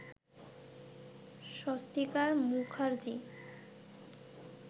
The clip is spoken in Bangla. স্বস্তিকা মুখার্জি